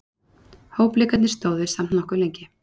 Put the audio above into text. Hópleikirnir stóðu samt nokkuð lengi.